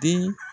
Den